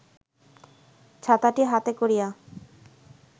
ছাতাটি হাতে করিয়া